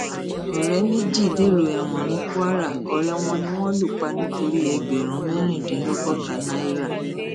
ọrẹ méjì dèrò ẹwọn ní kwara ọrẹ wọn ni wọn lù pa nítorí ẹgbẹrún mẹrìndínlọgọta náírà